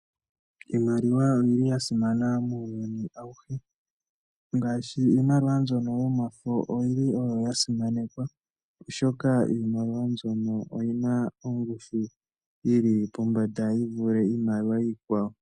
Iimaliwa oyi li ya simana muuyuni awuhe. Iimaliwa yomafo oyili oyo ya simanekwa oshoka oyi na ongushu yi li pombanda yi vule Iimaliwa iikwawo.